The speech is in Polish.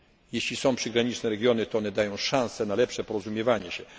się. Jeśli są przygraniczne regiony, to one dają szanse na lepsze porozumiewanie